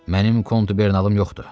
Mənim kontubernalım yoxdur.